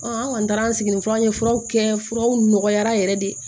an kɔni taara an sigiyɔrɔ ye furaw kɛ furaw nɔgɔyara yɛrɛ de